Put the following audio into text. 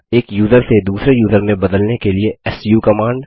एक यूज़र से दूसरे यूज़र में बदलने के लिए सू कमांड